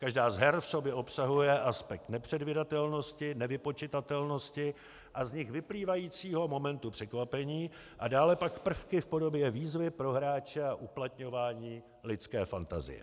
Každá z her v sobě obsahuje aspekt nepředvídatelnosti, nevypočitatelnosti a z nich vyplývajícího momentu překvapení a dále pak prvky v podobě výzvy pro hráče a uplatňování lidské fantazie.